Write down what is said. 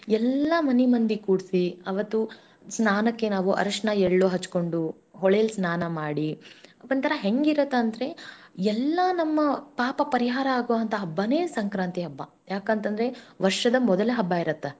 ಎಲ್ಲಾ ಮನಿ ಮಂದಿ ಕೂಡಿಸಿ ಅವತ್ತು ಸ್ನಾನಕ್ಕೆ ನಾವು ಅರಶಿಣ ಎಳ್ಳು ಹಚ್ಚಿಕೊಂಡು ಹೊಳೇಲಿ ಸ್ನಾನ ಮಾಡಿ ಒಂದ ತರಾ ಹೆಂಗಿರತ್ತೆ ಅಂದರೆಎಲ್ಲಾ ನಮ್ಮ ಪಾಪ ಪರಿಹಾರ ಆಗೋ ಹಂತಾ ಹಬ್ಬನೇ ಸಂಕ್ರಾಂತಿ ಹಬ್ಬ ಯಾಕಂತಂದರೆವರ್ಷದ ಮೊದಲ ಹಬ್ಬ ಇರುತ್ತ.